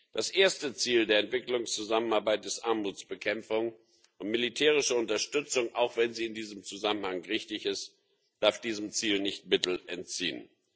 Das erste Ziel der Entwicklungszusammenarbeit ist Armutsbekämpfung, und militärische Unterstützung auch wenn sie in diesem Zusammenhang richtig ist darf diesem Ziel nicht Mittel entziehen.